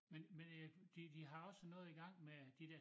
Men men jeg de de har også noget i gang med de dér